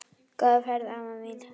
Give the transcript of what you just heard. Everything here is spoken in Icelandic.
Góða ferð, amma mín.